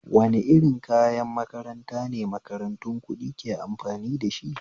Wane irin kayan makaranta ne makarantu kuɗi ke amfani dashi?